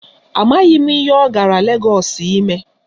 Amaghị m ihe ọ gara Legọọsụ ime.